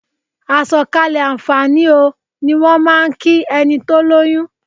"Àsọ̀kalẹ̀ àǹfààní o" ni wọ́n máà ń kí ẹni tó lóyún.